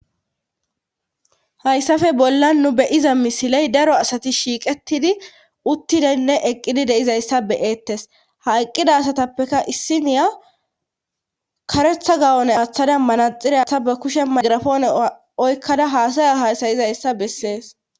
Hayssafe bolla nu beyiza misiley daro asati shiiqettidi uttidenne eqqidi deizayssa beyeettes ha eqqida asatappeka issiniya karetha gawone aththada manaxiresa ba kushe magrafoone oykkada haasaya hasayizayssa bessees